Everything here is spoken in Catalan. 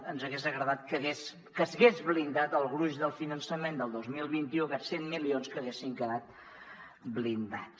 ens hagués agradat que s’hagués blindat el gruix del finançament del dos mil vint u aquests cent milions que haguessin quedat blindats